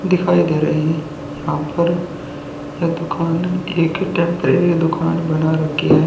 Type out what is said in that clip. दिखाई दे रहे हैं यहां पर यह दुकान एक टेम्पररी दुकान बना रखी है।